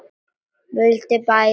Vildum bæði það sama.